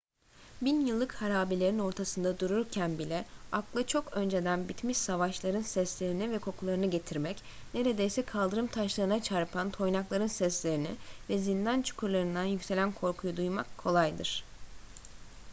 bin yıllık harabelerin ortasında dururken bile akla çok önceden bitmiş savaşların seslerini ve kokularını getirmek neredeyse kaldırım taşlarına çarpan toynakların seslerini ve zindan çukurlarından yükselen korkuyu duymak kolaydır